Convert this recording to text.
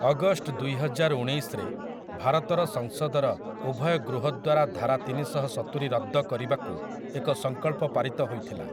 August ଦୁଇହଜାର ଉଣେଇଶରେ ଭାରତର ସଂସଦର ଉଭୟ ଗୃହ ଦ୍ୱାରା ଧାରା ତିନିଶହସତୁରି ରଦ୍ଦ କରିବାକୁ ଏକ ସଂକଳ୍ପ ପାରିତ ହୋଇଥିଲା ।